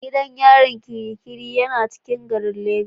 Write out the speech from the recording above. Gidan yarin Kirikiri yana cikin garin lagos.